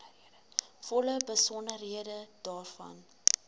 volle besonderhede daarvan